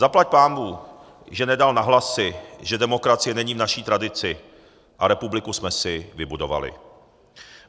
Zaplať pánbůh, že nedal na hlasy, že demokracie není v naší tradici, a republiku jsme si vybudovali.